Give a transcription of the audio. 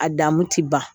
A dan mun ti ban